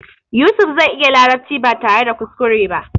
Yusuf zai iya larabci ba tare da kuskure ba.